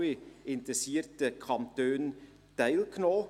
Alle interessierten Kantone haben teilgenommen.